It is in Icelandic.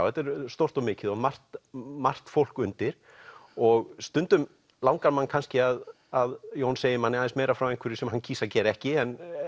þetta er stórt og mikið og margt margt fólk undir og stundum langar mann kannski að að Jón segi manni meira frá einhverju sem hann kýs að gera ekki